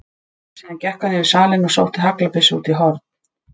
Síðan gekk hann yfir salinn og sótti haglabyssu út í horn.